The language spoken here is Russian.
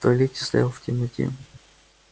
в туалете стоял в темноте